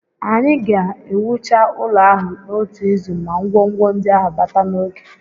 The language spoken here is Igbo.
Anyị ga-ewucha ụlọ ahụ n'otu izu ma ngwongwo ndị ahụ bata n'oge